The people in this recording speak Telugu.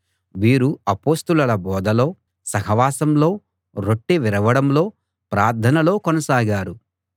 వీరు అపొస్తలుల బోధలో సహవాసంలో రొట్టె విరవడంలో ప్రార్థనలో కొనసాగారు